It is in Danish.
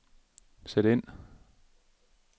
sæt ind